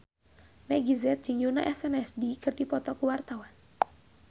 Meggie Z jeung Yoona SNSD keur dipoto ku wartawan